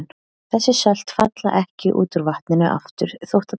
Þessi sölt falla ekki út úr vatninu aftur þótt það kólni.